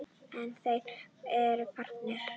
En þeir eru farnir.